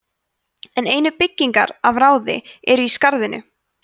en einu byggingar af ráði eru í skarðinu